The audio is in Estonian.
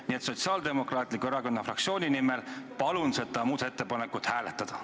Nii et Sotsiaaldemokraatliku Erakonna fraktsiooni nimel palun seda muudatusettepanekut hääletada.